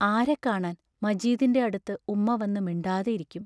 ആരെ കാണാൻ മജീദിന്റെ അടുത്ത് ഉമ്മ വന്നു മിണ്ടാതെ ഇരിക്കും.